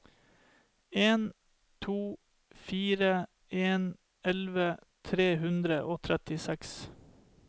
en to fire en elleve tre hundre og trettiseks